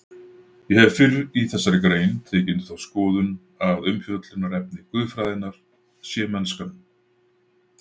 Ég hef fyrr í þessari grein tekið undir þá skoðun að umfjöllunarefni guðfræðinnar sé mennskan.